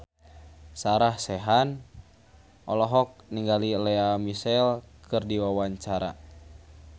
Sarah Sechan olohok ningali Lea Michele keur diwawancara